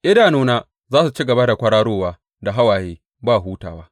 Idanuna za su ci gaba da kwararowa da hawaye, ba hutawa.